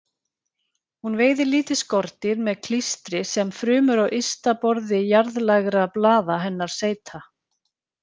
Hún veiðir lítil skordýr með klístri sem frumur á ysta borði jarðlægra blaða hennar seyta.